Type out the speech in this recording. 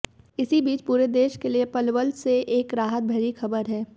इसी बीच पूरे देश के लिए पलवल से एक राहत भरी खबर है